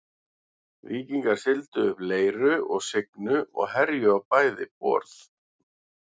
Víkingar sigldu upp Leiru og Signu og herjuðu á bæði borð.